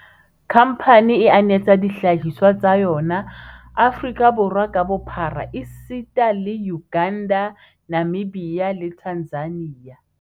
Khamphane e anetsa dihlahiswa tsa yona Aforika Borwa ka bophara esita le Uganda, Namibia le Tanzania.